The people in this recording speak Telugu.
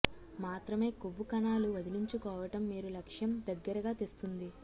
మాత్రమే కొవ్వు కణాలు వదిలించుకోవటం మీరు లక్ష్యం దగ్గరగా తెస్తుంది